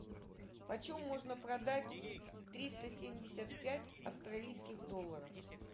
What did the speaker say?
почем можно продать триста семьдесят пять австралийских долларов